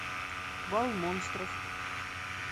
бал монстров